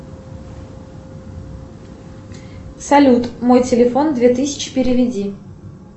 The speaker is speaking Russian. салют мой телефон две тысячи переведи